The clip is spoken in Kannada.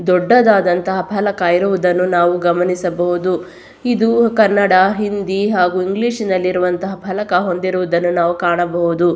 ದೊಡ್ಡದಾದಂತಹ ಅಪಲ ಆಯುರ್ವೇದ ನಾವು ಗಮನಿಸಬಹುದು. ಇದು ಕನ್ನಡ ಹಿಂದಿ ಹಾಗು ಇಂಗ್ಲಿಷ್ ನಲ್ಲಿರುವಂತಹ ಫಲಕ ಹೊಂದಿರುವುದನ್ನು ನಾವು ಕಾಣಬಹುದು.